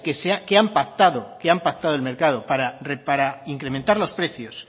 que han pactado el mercado para incrementar los precios